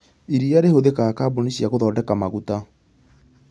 Iria rĩhũthĩkaga kambũni cia gũthondeka maguta